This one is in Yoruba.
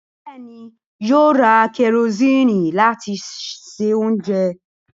Bẹẹ̀ni, Yóò ra kẹrosíìnì láti se oúnjẹ